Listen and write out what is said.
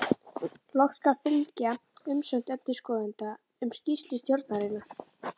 Loks skal fylgja umsögn endurskoðenda um skýrslu stjórnarinnar.